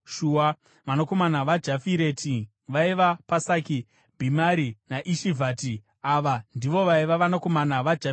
Vanakomana vaJafireti vaiva: Pasaki, Bhimari naAshivhati. Ava ndivo vaiva vanakomana vaJafireti.